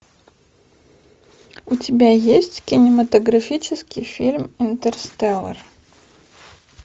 у тебя есть кинематографический фильм интерстеллар